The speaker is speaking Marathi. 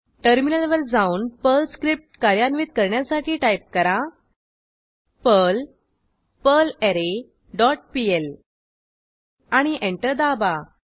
टर्मिनलवर जाऊन पर्ल स्क्रिप्ट कार्यान्वित करण्यासाठी टाईप करा पर्ल पर्लरे डॉट पीएल आणि एंटर दाबा